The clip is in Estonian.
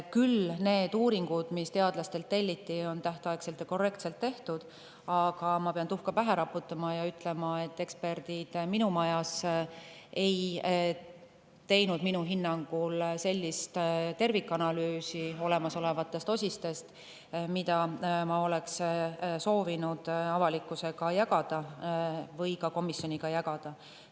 Küll on need uuringud, mis teadlastelt telliti, tehtud tähtajaks ja korrektselt, aga ma pean tuhka pähe raputama ja ütlema, et eksperdid minu majas ei teinud minu hinnangul olemasolevatest osistest sellist tervikanalüüsi, mida ma oleksin soovinud avalikkusega või komisjoniga jagada.